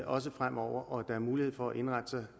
også fremover og at der er mulighed for at indrette sig